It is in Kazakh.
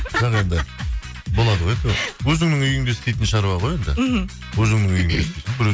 жоқ енді болады ғой әйтеуір өзіңнің үйіңде істейтін шаруа ғой енді мхм өзіңнің үйінде біреу